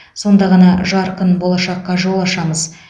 сонда ғана жарқын болашаққа жол ашамыз